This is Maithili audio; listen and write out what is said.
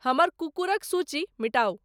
हमरकुक्कूरक सूची मिटाउ